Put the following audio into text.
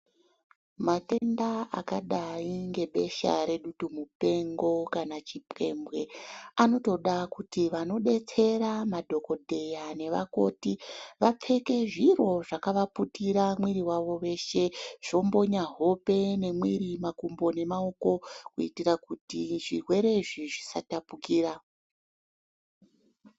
Matenda akadai ngebesha redutu mupengo kana chipembwe anotoda kuti vanodetsera vadhokodheya nevakoti vapfeke zviro zvakavaputirwa mwiri wavo weshe zvombonya hope, mwiri, makumbo nemaoko kuitirakuti zvirwere izvi zvisatapukira.